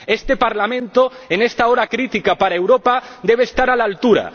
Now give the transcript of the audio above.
Este Parlamento, en esta hora crítica para Europa, debe estar a la altura.